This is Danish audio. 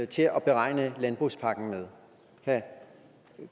til at beregne landbrugspakken med